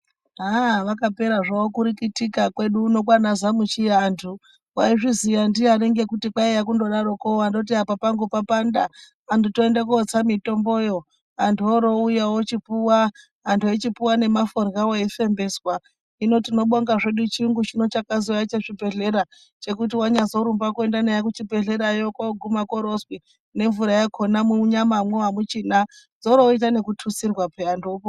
ha vakapera zvavo kurikitika kwaedu uno kwaana Zamuchiya antu waizviziya ndiyani ngekuti kwaiya kungodaroko wandoti apa pangu papanda antu toende kootsa mitomboyo antu oorouya wochipuwa, antu eichipuwa ngemaforyawo eifembeswa hino tinobonga zveduno chiyungu chino chakazouya chezvibhehlera chekuti wanyazorumba kuenda naye kuchibhehleyako wooroguma koorozwi nemvura yakona munyamamo hamuchina zvooroitwa nekututsirwa peya antu opo...